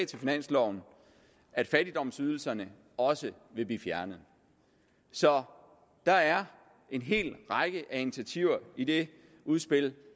til finansloven at fattigdomsydelserne også vil blive fjernet så der er en hel række af initiativer i det udspil